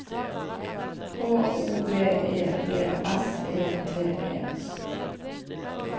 H O V E D S E T E